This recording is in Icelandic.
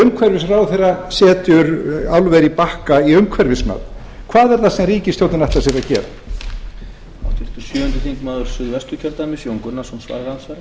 umhverfisráðherra setur álver á bakka í umhverfismat hvað er það sem ríkisstjórnin ætlar sér að gera